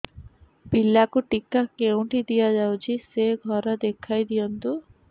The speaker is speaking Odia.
ପିଲାକୁ ଟିକା କେଉଁଠି ଦିଆଯାଉଛି ସେ ଘର ଦେଖାଇ ଦିଅନ୍ତୁ